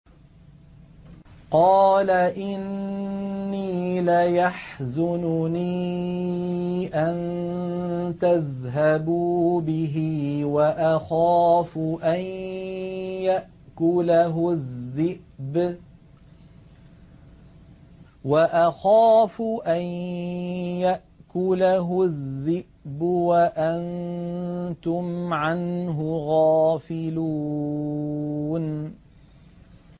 قَالَ إِنِّي لَيَحْزُنُنِي أَن تَذْهَبُوا بِهِ وَأَخَافُ أَن يَأْكُلَهُ الذِّئْبُ وَأَنتُمْ عَنْهُ غَافِلُونَ